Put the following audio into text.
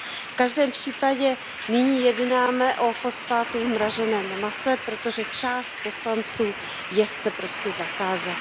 V každém případě nyní jednáme o fosfátu v mraženém mase, protože část poslanců je chce prostě zakázat.